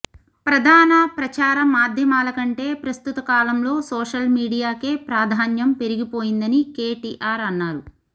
ప్రధాన ప్రచార మాధ్యమాల కంటే ప్రస్తుత కాలంలో సోషల్ మీడియాకే ప్రాధాన్యం పెరిగిపోయిందని కేటీఆర్ అన్నారు